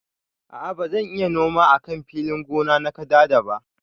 A'a bazan iya noma a kan filin gona na kadada ba.